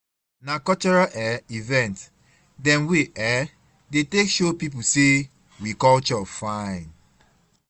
Na cultural um event dem we um dey take show pipu sey we culture fine.